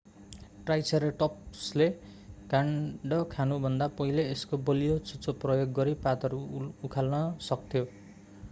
ट्राइसेराटोप्सले काण्ड खानुभन्दा पहिले यसको बलियो चुच्चो प्रयोग गरी पातहरू उखाल्न सक्थ्यो